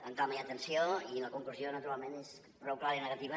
amb calma i atenció i la conclusió naturalment és prou clara i negativa